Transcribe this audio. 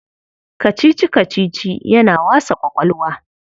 Kacici-kacici yana wasa ƙwaƙwalwa.